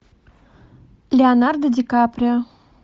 леонардо ди каприо